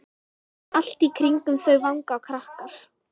Allt í kringum þau vanga krakkar.